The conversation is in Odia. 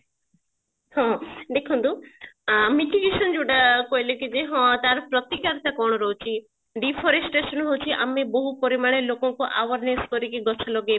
ହଁ ଦେଖନ୍ତୁ ଆଁ ଯୋଉଟା କହିଲେ କି ଯୋଉଟା କି ହଁ ତାର ପ୍ରତିକାର କଣ ରହୁଛି deforestation ହଉଛି ଆମେ ବହୁ ପରିମାଣରେ ଲୋକଙ୍କୁ awareness କରିକି ଗଛ ଲଗେଇ